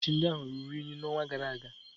Ákwà mgbochi ndị ahụ ruru unyi n'ọnwa gara aga